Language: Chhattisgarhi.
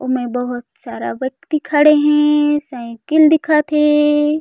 उमै बहुत सारा व्यक्ति खड़े हे साइकिल दिखत हे।